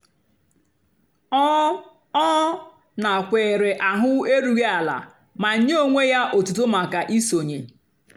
ọ́ ọ́ nàkwééré áhụ̀ érúghị́ àlà mà nyé ónwé yá ótútó màkà ísónyé.